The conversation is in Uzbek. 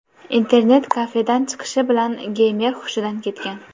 Internet-kafedan chiqishi bilan geymer xushidan ketgan.